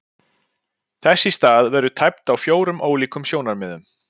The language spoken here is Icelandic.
Þess í stað verður tæpt á fjórum ólíkum sjónarmiðum.